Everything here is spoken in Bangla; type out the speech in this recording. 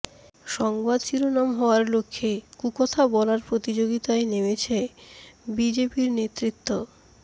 সংবাদ শিরোনাম হওয়ার লক্ষ্যে কুকথা বলার প্রতিযোগিতায় নেমেছে বিজেপির নেতৃত্ব